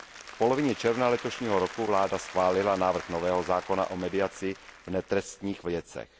V polovině června letošního roku vláda schválila návrh nového zákona o mediaci v netrestních věcech.